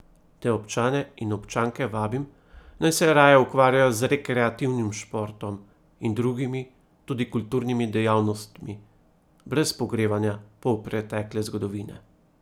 Te občane in občanke vabim, naj se raje ukvarjajo z rekreativnim športom in drugimi, tudi kulturnimi dejavnostmi, brez pogrevanja polpretekle zgodovine.